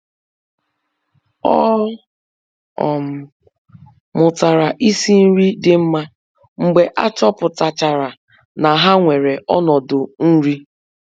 Ọ um mụtara isi nri dị mma mgbe a chọpụtachara na ha nwere ọnọdụ nri.